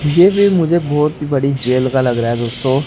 ये भी मुझे बहोत बड़ी जेल का लग रहा है दोस्तों।